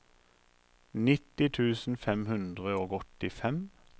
nitti tusen fem hundre og åttifem